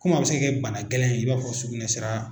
Komi a bɛ se ka kɛ bana gɛlɛn ye i b'a fɔ sugunɛ sira